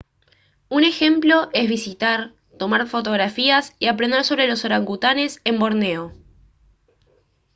un ejemplo es visitar tomar fotografías y aprender sobre los orangutanes en borneo